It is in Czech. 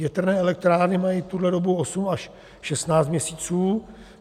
Větrné elektrárny mají tuhle dobu 8 až 16 měsíců.